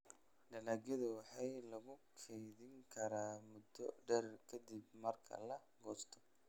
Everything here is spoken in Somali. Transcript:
Dalagyadu waxaa lagu keydin karaa muddo dheer ka dib marka la goosto.